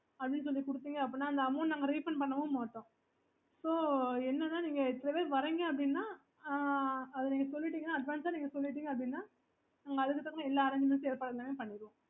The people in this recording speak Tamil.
okay